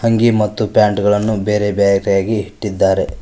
ಅಂಗಿ ಮತ್ತು ಪ್ಯಾಂಟ್ ಗಳನ್ನು ಬೇರೆ ಬೇರೆಯಾಗಿ ಇಟ್ಟಿದ್ದಾರೆ.